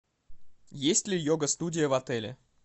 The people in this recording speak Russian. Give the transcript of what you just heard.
есть ли йога студия в отеле